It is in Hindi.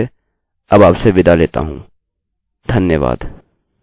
मैं रवि कुमार आईआईटी बॉम्बे की ओर से अब आपसे विदा लेता हूँ धन्यवाद